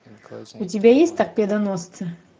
у тебя есть торпедоносцы